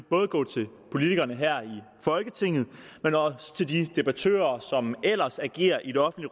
bare gå til politikerne her i folketinget men også til de debattører som ellers agerer i